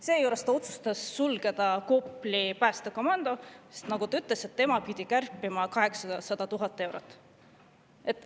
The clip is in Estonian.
Seejuures otsustas ta sulgeda Kopli päästekomando, sest nagu ta ütles, tema pidi kärpima 800 000 eurot.